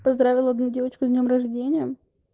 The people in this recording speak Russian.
поздравил одну девочку с днём рождения